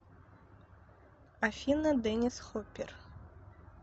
афина деннис хоппер